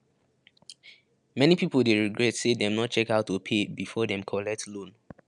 many people dey regret say dem no check how to pay before dem collect loan